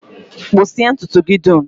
Kpụsịa ntụtụ gị dum!